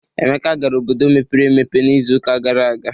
Emeka gara obodo mepere emepe n'izuụka gara aga.